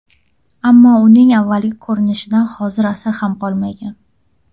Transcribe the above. Ammo uning avvalgi ko‘rinishidan hozir asar ham qolmagan.